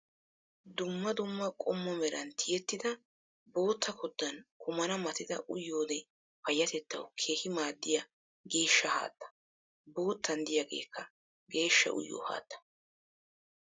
Dumma dumma qommo meran ti''ettida bootta koddan kumana matida uyiyoodee payyatettawu keehi maaddiya geeshsha haatta. Boottan diyaageekka geeshsha uyiyoo haattaa.